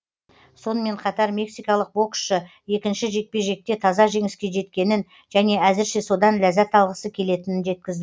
сонымен қатар мексикалық боксшы екінші жекпе жекте таза жеңіске жеткенін және әзірше содан ләззат алғысы келетінін жеткізді